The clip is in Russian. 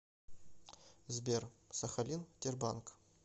сбер сахалин тербанк